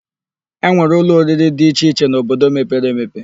E nwere ụlọ oriri dị iche iche n'obodo mepere emepe.